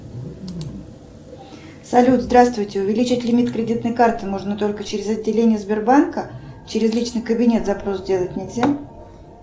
салют здравствуйте увеличить лимит кредитной карты можно только через отделение сбербанка через личный кабинет запрос сделать нельзя